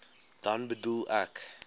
dan bedoel ek